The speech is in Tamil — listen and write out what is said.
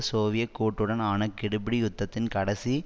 சோவியத் கூட்டுடன் ஆன கெடுபிடி யுத்தத்தின் கடைசி